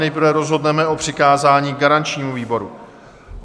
Nejprve rozhodneme o přikázání garančnímu výboru.